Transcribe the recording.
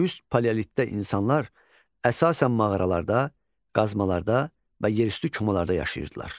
Üst paleolitdə insanlar əsasən mağaralarda, qazmalarda və yerüstü komalarda yaşayırdılar.